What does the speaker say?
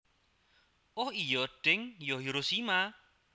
Oh iyo deng yo Hiroshima